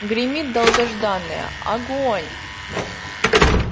гремит долгожданное огонь